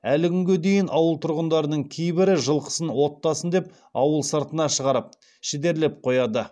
әлі күнге дейін ауыл тұрғындарының кейбірі жылқысын оттасын деп ауыл сыртына шығарып шідерлеп қояды